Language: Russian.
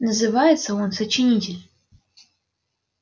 называется он сочинитель